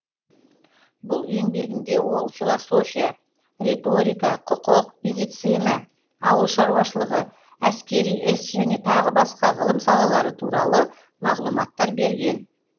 бұл еңбегінде ол философия риторика құқық медицина ауыл шаруашылығы әскери іс және тағы басқа ғылым салалары туралы мағлұматтар берген